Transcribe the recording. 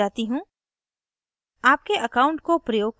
मैं वापस slide पर जाती हूँ